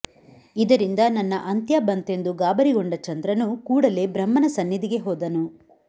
ಇದರಿಂದ ನನ್ನ ಅಂತ್ಯ ಬಂತೆಂದು ಗಾಬರಿಗೊಂಡ ಚಂದ್ರನು ಕೂಡಲೇ ಬ್ರಹ್ಮನ ಸನ್ನಿಧಿಗೆ ಹೋದನು